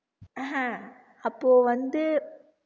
அப்போ வந்து